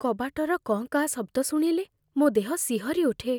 କବାଟର କଁ କାଁ ଶବ୍ଦ ଶୁଣିଲେ ମୋ ଦେହ ଶିହରି ଉଠେ।